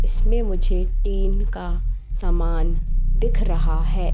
इसमें मुझे टीन का समान दिख रहा है।